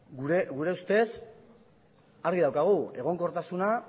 gure ustez argi daukagu egonkortasuna